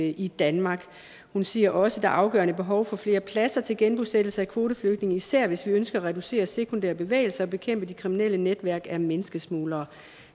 i danmark hun siger også et afgørende behov for flere pladser til genbosættelse af kvoteflygtninge især hvis vi ønsker at reducere sekundære bevægelser og bekæmpe de kriminelle netværk af menneskesmuglere